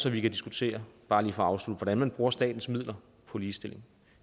at vi kan diskutere bare lige for at afslutte hvordan man bruger statens midler på ligestilling